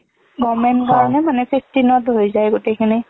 government কাৰণে মানে fifteen অত হৈ যাই গোটেখিনি।